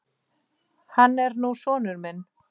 Hann er nú sonur minn.